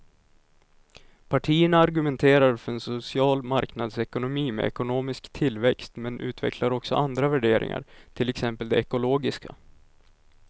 Partierna argumenterar för en social marknadsekonomi med ekonomisk tillväxt men utvecklar också andra värderingar, till exempel de ekologiska.